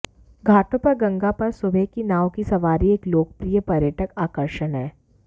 घाटों पर गंगा पर सुबह की नाव की सवारी एक लोकप्रिय पर्यटक आकर्षण है